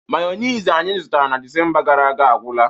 Mayonezi anyị zụtara na Disemba gara aga agwụla